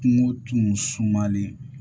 Kungo tun sumalen